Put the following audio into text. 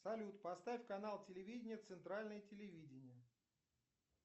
салют поставь канал телевидения центральное телевидение